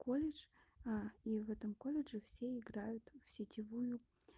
колледж а и в этом колледже все играют в сетевую